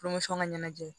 ŋa ɲɛnajɛ